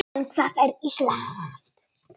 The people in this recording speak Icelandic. En hvað er Ísland?